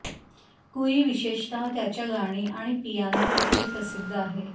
कुई विशेषतः त्याच्या गाणी आणि पियानो तुकडे प्रसिध्द आहे